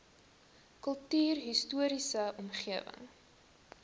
kultuurhis toriese omgewing